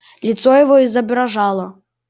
лицо его изображало